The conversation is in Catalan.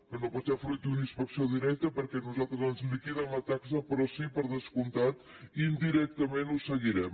que no pot ser fruit d’una inspecció directa perquè a nosaltres ens liquiden la taxa però sí per descomptat indirectament ho seguirem